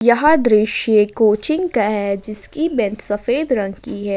यह दृश्य कोचिंग का है जिसकी बेंच सफेद रंग की है।